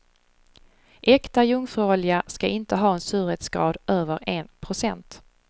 Äkta jungfruolja ska inte ha en surhetsgrad över en procent.